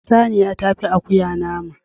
Saniya tafi akuya nama